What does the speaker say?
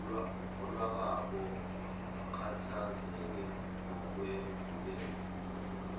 lwakwabo akhathazeke ngokwedlulele